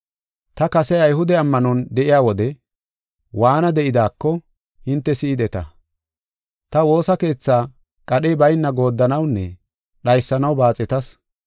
Ta kase Ayhude ammanon de7iya wode waana de7idaako, hinte si7ideta. Ta woosa keethaa qadhey bayna gooddanawunne dhaysanaw baaxetas.